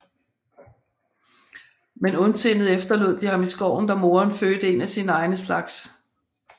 Men ondsindet efterlod de ham i skoven da moderen fødte en af sine egne slags